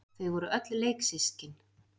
Þau voru öll leiksystkin.